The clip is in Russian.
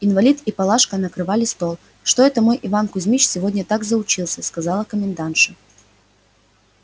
инвалид и палашка накрывали стол что это мой иван кузмич сегодня так заучился сказала комендантша